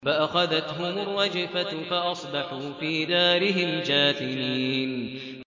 فَأَخَذَتْهُمُ الرَّجْفَةُ فَأَصْبَحُوا فِي دَارِهِمْ جَاثِمِينَ